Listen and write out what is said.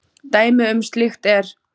Dæmi um slíkt er